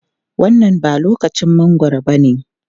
Wannan ba lokacin mangwaro bane.